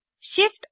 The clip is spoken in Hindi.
Shift और160